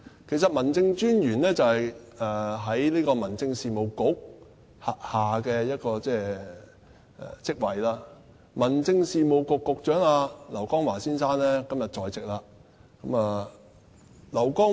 其實，民政事務專員是民政事務局轄下的職位，而民政事務局局長劉江華先生今天也在席。